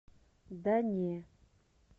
да не